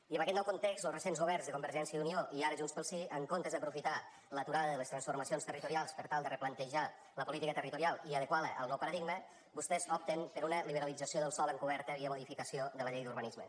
i en aquest nou context los recents governs de convergència i unió i ara junts pel sí en comptes d’aprofitar l’aturada de les transformacions territorials per tal de replantejar la política territorial i adequar la al nou paradigma vostès opten per una liberalització del sòl encoberta via modificació de la llei d’urbanisme